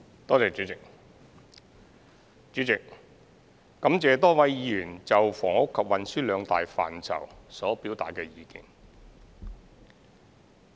代理主席，感謝多位議員就房屋及運輸兩大範疇所表達的意見。